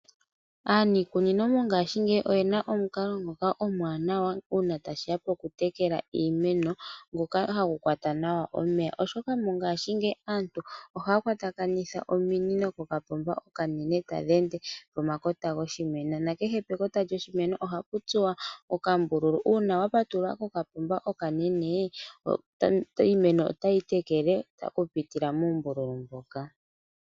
Aaniikunino mongashingeyi oyena omukalo ngoka omuwanawa uuna tashiya po ku tekela Iimeno ngoka hagu kwata nawa omeya oshoka mongaashingeyi aantu ohaya kwatakanitha ominino kokapomba okanene tadhi ende Iimeno pomakota goshimeno. Nena kehw pekota lyoshimeno ohapu tsuwa okambululu uuwa wa patulula kokapomba okanene iimeno otayi tekelwa oku pitila muumbululu moka